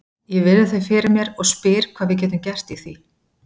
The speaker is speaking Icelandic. Ég virði þau fyrir mér og spyr hvað við getum gert í því.